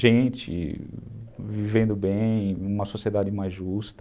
Gente vivendo bem, uma sociedade mais justa,